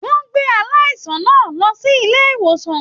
Wọn gbé aláìsàn náà lọ sílé ìwòsàn.